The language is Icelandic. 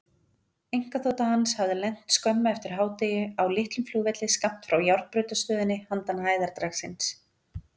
Einkaþota hans hafði lent skömmu eftir hádegi á litlum flugvelli skammt frá járnbrautarstöðinni handan hæðardragsins.